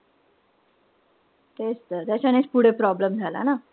तेच तर. त्याच्यानेंच पुढे problem झाला ना?